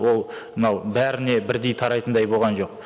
ол мынау бәріне бірдей тарайтындай болған жоқ